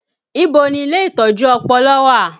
Ibo ni ilé ìtọ́jú ọpọlọ wà?